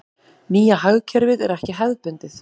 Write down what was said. Nýja hagkerfið er ekki hefðbundið.